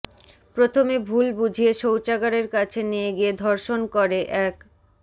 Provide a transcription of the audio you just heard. প্রথমে ভুল বুঝিয়ে শৌচাগারের কাছে নিয়ে গিয়ে ধর্ষণ করে এক